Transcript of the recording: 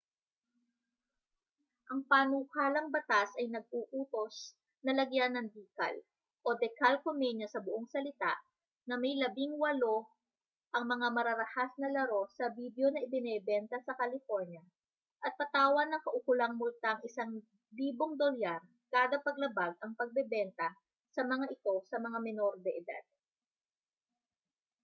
ang panukalang batas ay nag-uutos na lagyan ng decal o decalcomania sa buong salita na may 18” ang mga mararahas na laro sa bidyo na ibinebenta sa california at patawan ng kaukulang multang $1000 kada paglabag ang pagbebenta sa mga ito sa mga menor de edad